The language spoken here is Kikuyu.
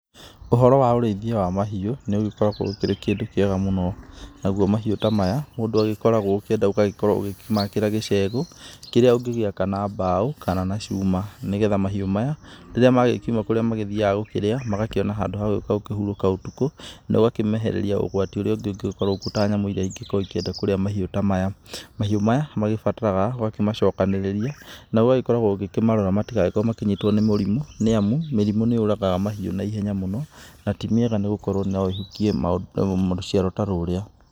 Ũhoro wa ũrĩithia wa mahiũ nĩũgĩkoragwo ũkĩrĩ kĩndũ kĩega mũno, naguo mahiũ ta maya mũndũ agĩkoragwo ũkĩenda ũgagĩkorwo ũkĩmakĩra gĩcegũ, kĩrĩa ũngĩgĩaka na mbaũ kana na cuma, nĩgetha mahiũ maya rĩrĩa magĩkiuma kũrĩa mathiaga gũkĩrĩa, magakĩona handũ ha gũka gũkĩhurũka ũtukũ, nogakĩmehereria ũgwati ũrĩa ũngĩũka ta nyamũ iria ingĩkorwo ikĩenda kũrĩa mahiũ ta maya, mahiũ maya mabataraga ũkorwo ũkĩmacokanĩrĩria na ũgagĩkoragwo ũgĩkĩmarora matigakorwo makĩnyitwo nĩ mũrimũ, nĩamu mĩrimũ nĩyũragaga mahiũ naihenya mũno, na ti mĩega tondũ noĩhukie rũciaro ta rũrĩa